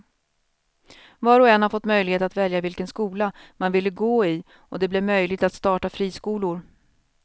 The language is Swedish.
Var och en har fått möjlighet att välja vilken skola man ville gå i och det blev möjligt att starta friskolor.